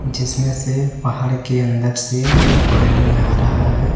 जिसमें से पहाड़ के अंदर से पानी आ रहा है।